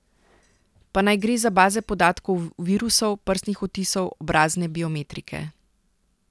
Pa naj gre za baze podatkov virusov, prstnih odtisov, obrazne biometrike ...